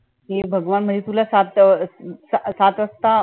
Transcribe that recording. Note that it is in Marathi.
हे भगवान म्हणजे तुला सात सात वाजता